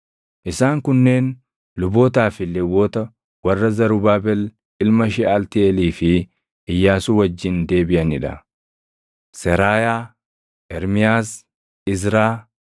Isaan kunneen lubootaa fi Lewwota warra Zarubaabel ilma Sheʼaltiiʼeelii fi Iyyaasuu wajjin deebiʼanii dha: Seraayaa, Ermiyaas, Izraa,